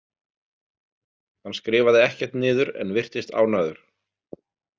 Hann skrifaði ekkert niður en virtist ánægður.